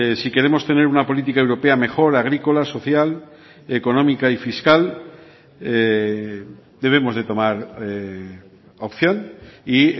si queremos tener una política europea mejor agrícola social económica y fiscal debemos de tomar opción y